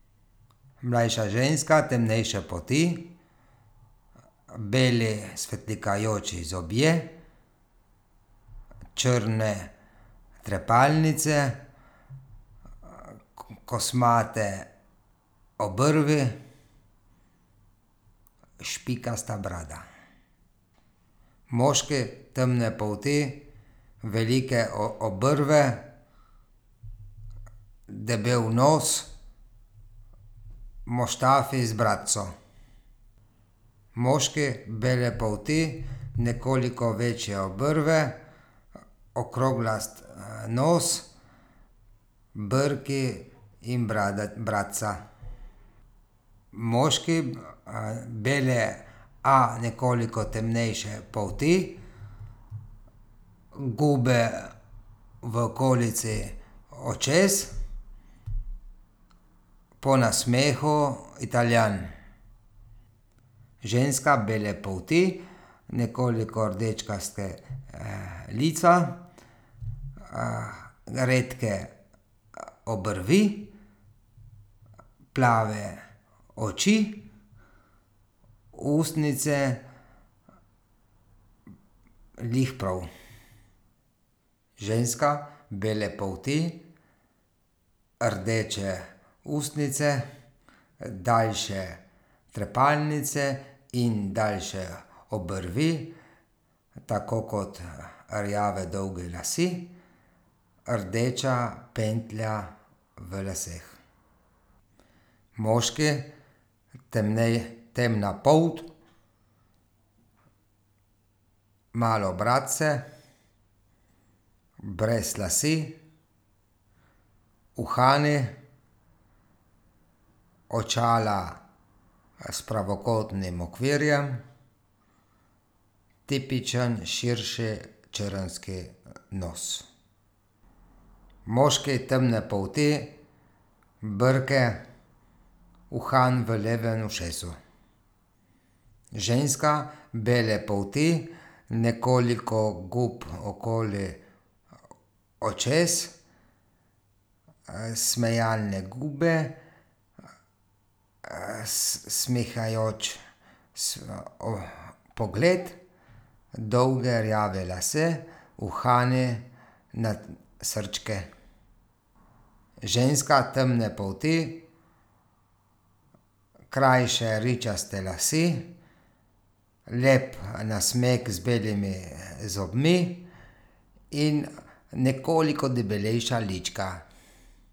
Mlajša ženska temnejše polti. Beli svetlikajoči zobje. Črne trepalnice. Kosmate obrvi, špikasta brada. Moški temne polti, velike obrvi, debel nos, muštafi z bradico. Moški, bele polti, nekoliko večje obrvi, okroglast, nos, brki in brada, bradica. Moški, bele, a nekoliko temnejše polti. Gube v okolici očes. Po nasmehu Italijan. Ženska, bele polti. Nekoliko rdečkasta, lica, redke, obrvi. Plave oči, ustnice glih prav. Ženska, bele polti, rdeče ustnice, daljše trepalnice in daljše obrvi, tako kot rjavi dolgi lasje. Rdeča pentlja v laseh. Moški, temna polt. Malo bradice, brez las, uhani, očala, s pravokotnim okvirjem. Tipičen širši črnski nos. Moški, temne polti, brki, uhan v levem ušesu. Ženska, bele polti, nekoliko gub okoli očes. smejalne gube, smehajoč pogled. Dolgi rjavi lasje, uhani srčki. Ženska temne polti. Krajše ričaste lase, lep nasmeh z belimi zobmi in nekoliko debelejša lička.